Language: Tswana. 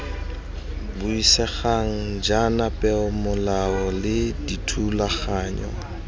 buisegang jaana peomolao le dithulaganyo